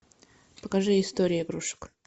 покажи история игрушек